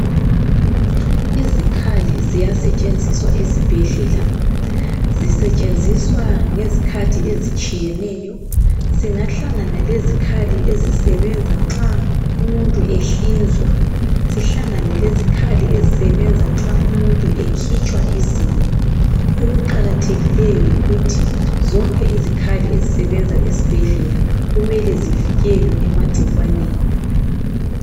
Izikhali ziyasetshenziswa esibhedlela, zisetshenziswa ngezikhathi ezitshiyeneyo. Singahlangana lezikhali ezisebenza nxa umuntu ehlinzwa sihlangane lezikhali ezisebenza nxa umuntu ekhitshwa izinyo. Okuqakathekileyo yikuthi zonke izikhali ezisebenza esibhedlela kumele zivikelwe emagcikwaneni.